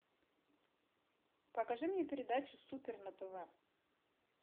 покажи мне передачу супер на тв